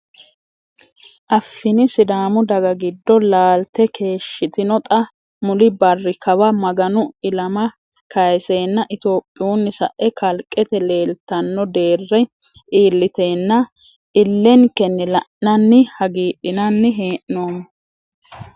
Afiini sidaamu daga giddo laalte keeshshitino xa mulli barri kawa Maganu ilama Kayisenna itophiyunni sae kalqete leellittano deere iillitenna ilenkenni la'nanni hagiidhinanni hee'noommo.